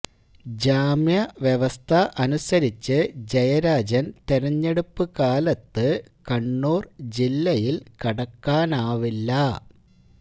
ജാമ്യ വ്യവസ്ഥ അനുസരിച്ച് ജയരാജന് തെരഞ്ഞെടുപ്പ് കാലത്ത് കണ്ണൂർ ജില്ലയിൽ കടക്കാനാവില്ല